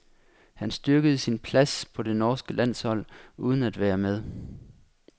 Han styrkede sin plads på det norske landshold uden at være med.